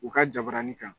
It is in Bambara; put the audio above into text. U ka jabaranin kan